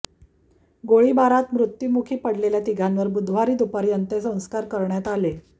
गोळीबारात मृत्युमुखी पडलेल्या तिघांवर बुधवारी दुपारी अंत्यसंस्कार करण्यात आले